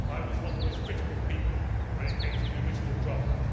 I was one of the most critical people when it came to the original draft.